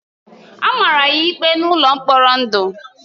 A mara ya ikpe n’ụlọ mkpọrọ ndụ.